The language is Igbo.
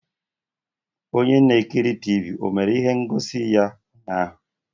Onye na-ekiri Tivii o mere ihe ngosi ya ụnyaahụ?